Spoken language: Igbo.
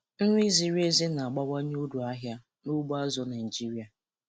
Nri ziri ezi na-abawanye uru ahịa n'ugbo azụ̀ Naịjiria.